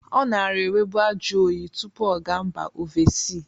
Ọ nara enwebu ajọyị tụpụ ọ ga mba ovesi.